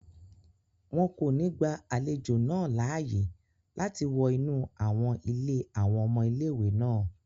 Wọn kò ní gba àlejò náà láàyè láti wọ inú àwọn ilé àwọn ọmọ ilé-ìwé náà